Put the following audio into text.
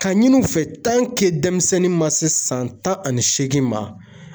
Ka ɲini u fɛ denmisɛnnin ma se san tan ani seegin ma